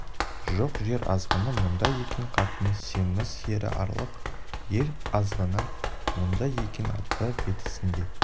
жоқ жер азғыны мұнда екен қатыны семіз ері арық ел азғыны мұнда екен аты бестісінде